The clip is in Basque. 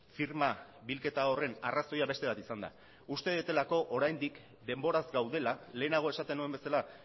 firma bilketa horren arrazoia beste bat izan da uste dutelako oraindik denboraz gaudela lehenago esaten nuen bezala